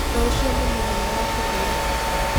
Rũciũ nĩ mũthenya wa kũhurũka.